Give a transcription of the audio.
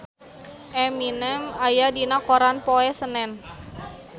Eminem aya dina koran poe Senen